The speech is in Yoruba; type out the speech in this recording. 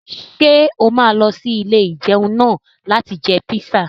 Ṣé o máa lọ sí ilé-ìjẹun náà láti jẹ píṣà?